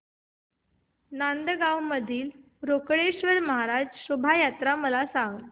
नांदगाव मधील रोकडेश्वर महाराज शोभा यात्रा मला सांग